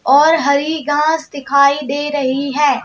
और हरी घास दिखाई दे रही है।